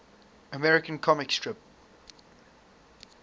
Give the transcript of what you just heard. american comic strip